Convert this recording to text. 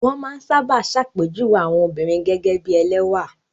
Wọ́n máa ń sábà ṣàpèjúwe àwọn obìnrin gẹ́gẹ́ bí ẹlẹ́wà.